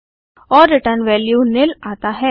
और return value nil आता है